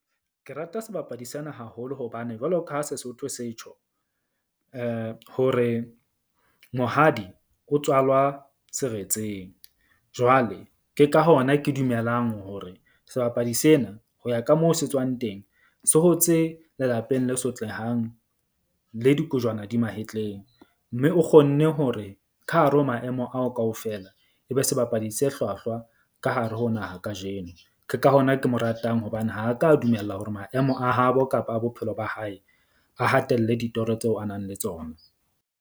Ke rata sebapadi sena haholo hobane jwalo ka ha Sesotho se tjho hore mohadi o tswalwa seretseng. Jwale ke ka hona ke dumelang hore sebapadi sena ho ya ka moo se tswang teng. Se hotse lelapeng le sotlehang le dikojwana di mahetleng. Mme o kgonne hore ka hare ho maemo ao kaofela, e be sebapadi se hlwahlwa ka hare ho naha kajeno. Ke ka hona ke mo ratang hobane ha ka a dumella hore maemo a habo kapa a bophelo ba hae a hatelle ditoro tseo a na leng tsona.